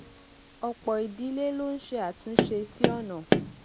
òpò ìdílé ló ń ṣe àtúnṣe sí ònà